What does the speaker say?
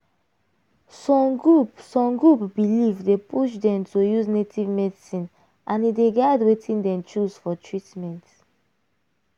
some group some group belief dey push dem to use native medicine and e dey guide wetin dem choose for treatment.